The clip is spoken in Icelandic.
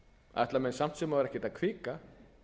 ætla menn samt sem áður ekki að hvika